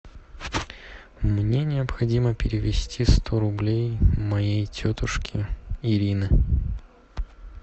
мне необходимо перевести сто рублей моей тетушке ирины